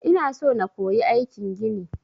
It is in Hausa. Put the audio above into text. Ina so na koyi aikin gini.